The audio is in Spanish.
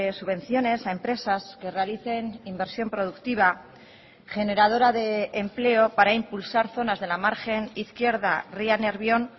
subvenciones a empresas que realicen inversión productiva generadora de empleo para impulsar zonas de la margen izquierda ría nervión